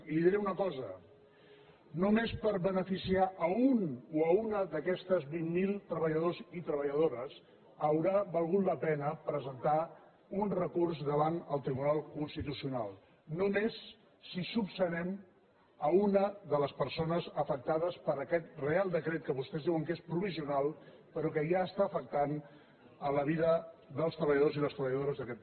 i li diré una cosa només per beneficiar un o una d’aquests vint mil treballadors i treballadores haurà valgut la pena presentar un recurs davant el tribunal constitucional només si solucionem una de les persones afectades per aquest reial decret que vostès diuen que és provisional però que ja està afectant la vida dels treballadors i les treballadores d’aquest país